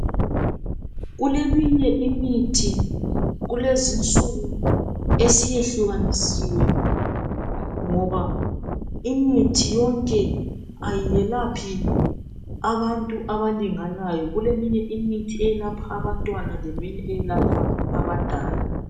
Kuleminye imithi kulezi insuku esiyehlukanisiwe, ngoba imithi yonke ayiyelaphi abantu abalinganayo. Kuleminye imithi eyelapha abantwana leminye eyelapha abadala.